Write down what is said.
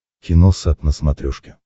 киносат на смотрешке